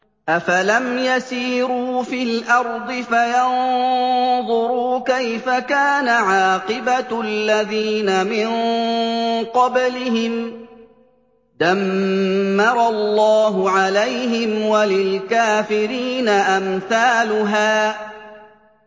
۞ أَفَلَمْ يَسِيرُوا فِي الْأَرْضِ فَيَنظُرُوا كَيْفَ كَانَ عَاقِبَةُ الَّذِينَ مِن قَبْلِهِمْ ۚ دَمَّرَ اللَّهُ عَلَيْهِمْ ۖ وَلِلْكَافِرِينَ أَمْثَالُهَا